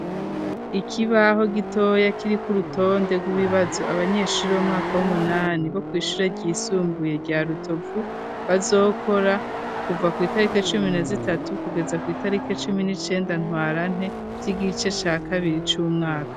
Ikibaho gitoya kiri kurutonde rw'ibibazo abanyeshure bo mu mwaka w'umunani bo kwishure ryisumbuye rya rutovu bazokora kuva kw'itarike cumi na zitatu kugeza kw'itarike cumi n'icenda ntwarante vy'igice ca kabiri c'umwaka.